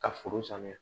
Ka foro sanuya